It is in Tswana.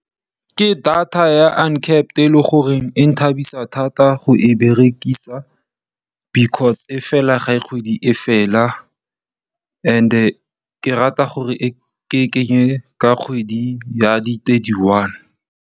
Ke data ya uncapped e leng gore e nthabisa thata go e berekisa because e fela ga kgwedi e fela and ke rata gore ke e kenye ka kgwedi ya di thirty one.